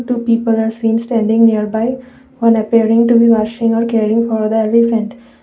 two people are seeing standing nearby on appearing to be washing or caring for the elephant.